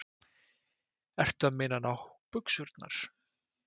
Ertu að meina nábuxurnar?